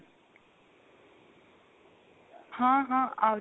ਹਾਂ ਹਾਂ ah